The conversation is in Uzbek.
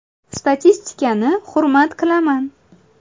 Statistikani hurmat qilaman.